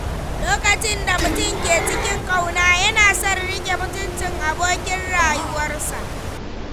Lokacin da mutum ke cikin ƙauna, yana son ya riƙe mutuncin abokin rayuwarsa.